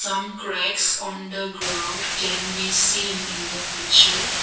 some cracks on the ground can be seen in the picture.